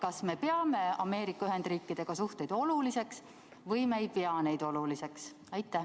Kas me peame Ameerika Ühendriikidega suhteid oluliseks või me ei pea neid oluliseks?